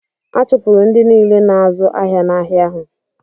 A chụpụrụ ndị niile na-azụ́ ahịa n’ahịa ahụ.